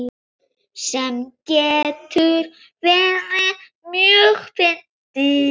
Sem getur verið mjög fyndið.